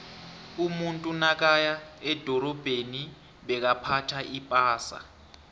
umuntu nakaya edorabheni bekaphtha ipasa